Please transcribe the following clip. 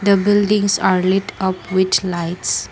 the buildings are light up rich lights.